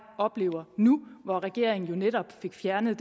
oplever nu hvor regeringen jo netop fik fjernet